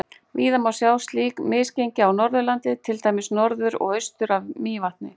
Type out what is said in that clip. Víða má sjá slík misgengi á Norðurlandi, til dæmis norður og austur af Mývatni.